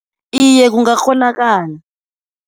Iye, kungakghonakala.